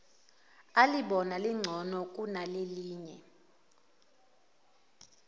alibona lingcono kunelinye